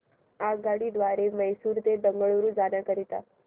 आगगाडी द्वारे मैसूर ते बंगळुरू जाण्या करीता